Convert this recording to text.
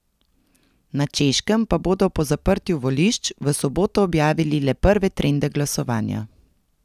Na Češkem pa bodo po zaprtju volišč v soboto objavili le prve trende glasovanja.